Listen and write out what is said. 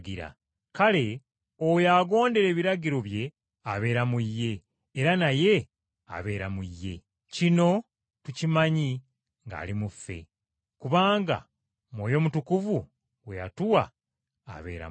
Kale oyo agondera ebiragiro bye abeera mu Ye, era naye abeera mu ye. Kino tukimanyi ng’ali mu ffe, kubanga Mwoyo Mutukuvu gwe yatuwa abeera mu ffe.